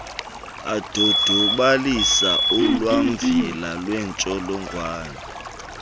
adodobalisa ulwamvila lwentsholongwane